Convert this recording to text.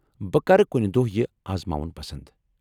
بہٕ کرٕ کُنہِ دۄہ یہ آزماوُن پسنٛد ۔